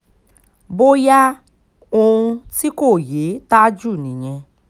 bóyá ohun tí kò yé tájù nìyẹn